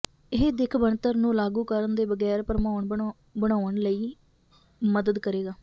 ਇਹ ਦਿੱਖ ਬਣਤਰ ਨੂੰ ਲਾਗੂ ਕਰਨ ਦੇ ਬਗੈਰ ਭਰਮਾਉਣ ਬਣਾਉਣ ਲਈ ਮਦਦ ਕਰੇਗਾ